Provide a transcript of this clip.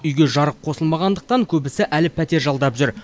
үйге жарық қосылмағандықтан көбісі әлі пәтер жалдап жүр